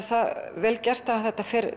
það vel gert að það fer